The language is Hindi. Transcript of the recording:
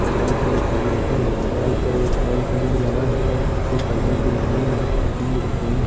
दीवाल पे घड़ी लगी है दीवाल पे एक वॉल पेंट लगा है और खुछ कर्टेन्स भी दिख रहे है खिड़की भी दिख रही है।